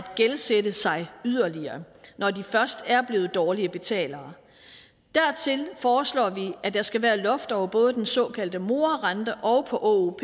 gældsætte sig yderligere når de først er blevet dårlige betalere dertil foreslår vi at der skal være loft over både den såkaldte morarente og